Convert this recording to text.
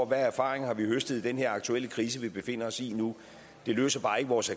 erfaringer vi har høstet i den her aktuelle krise vi befinder os i det løser bare ikke vores